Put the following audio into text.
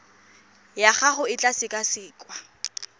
ya gago e tla sekasekwa